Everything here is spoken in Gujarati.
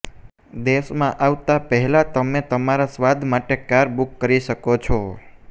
દેશમાં આવતાં પહેલાં તમે તમારા સ્વાદ માટે કાર બુક કરી શકો છો